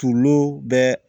Tulo bɛɛ